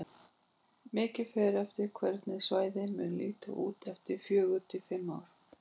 Mikið fer eftir hvernig svæðið mun líta út eftir fjögur til fimm ár.